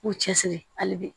K'u cɛsiri hali bi